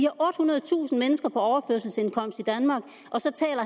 ottehundredetusind mennesker på overførselsindkomst i danmark og så taler